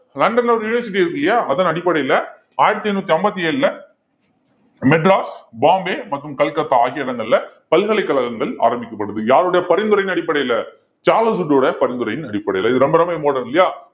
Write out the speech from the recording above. லண்டன்ல ஒரு university இருக்கு இல்லையா அதன் அடிப்படையில ஆயிரத்தி எண்ணூத்தி ஐம்பத்தி ஏழுல மெட்ராஸ், பம்பாய் மற்றும் கல்கத்தா ஆகிய இடங்கள்ல பல்கலைக்கழகங்கள் ஆரம்பிக்கப்படுது யாருடைய பரிந்துரையின் அடிப்படையில சார்லஸ் வுட்டோட பரிந்துரையின் அடிப்படையில இது ரொம்ப ரொம்ப important இல்லையா